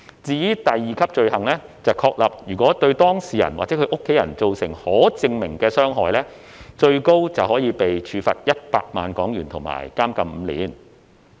至於第二級罪行則確立，如果對當事人或其家人造成可證明的傷害，最高可被處罰100萬港元及監禁5年。